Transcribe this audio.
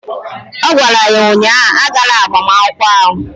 Ọ gwara ya ụnyaahụ "Agala agbamakwụkwọ ahụ"!